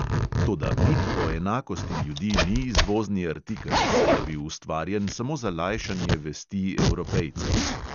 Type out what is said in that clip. Toda mit o enakosti ljudi ni izvozni artikel, saj je bil ustvarjen samo za lajšanje vesti evropejcev.